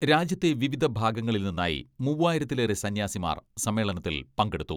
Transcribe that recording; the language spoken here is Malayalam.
രാജ്യത്തെ വിവിധ ഭാഗങ്ങളിൽ നിന്നായി മൂവ്വായിരത്തിലേറെ സന്യാസിമാർ സമ്മേളനത്തിൽ പങ്കെടുത്തു.